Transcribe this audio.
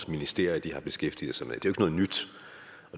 ministerier har beskæftiget sig med